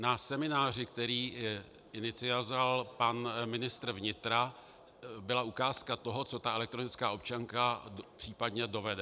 Na semináři, který inicioval pan ministr vnitra, byla ukázka toho, co ta elektronická občanka případně dovede.